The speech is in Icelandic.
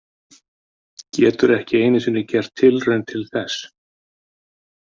Getur ekki einu sinni gert tilraun til þess.